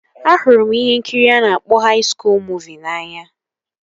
Ahụrụ m ihe nkiri a na-akpọ haị skuul muziki n'anya